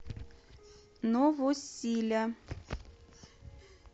новосиля